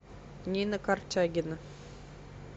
нина корчагина